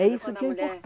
É isso que é